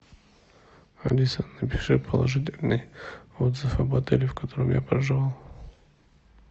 алиса напиши положительный отзыв об отеле в котором я проживал